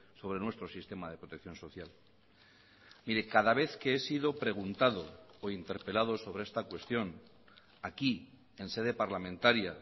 sobre nuestro sistema de protección social mire cada vez que he sido preguntado o interpelado sobre esta cuestión aquí en sede parlamentaria